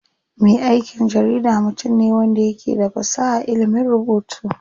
Me aikin jarida mutum ne wanda yake da fasaha a ilimin rubutu.